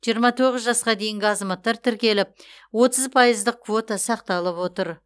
жиырма тоғыз жасқа дейінгі азаматтар тіркеліп отыз пайыздық квота сақталып отыр